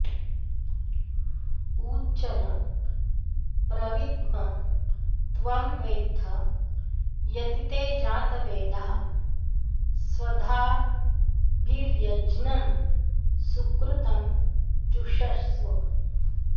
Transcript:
उ च न प्रविद्म त्वं वेत्थ यति ते जातवेदः स्वधाभिर्यज्ञँ् सुकृतं जुषस्व